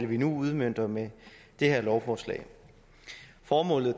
vi nu udmønter med det her lovforslag formålet